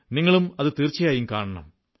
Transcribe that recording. നിങ്ങളേവരും തീർച്ചയായും കാണണം